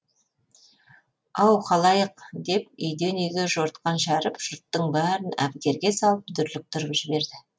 ау халайық деп үйден үйге жортқан шәріп жұрттың бәрін әбігерге салып дүрліктіріп жіберді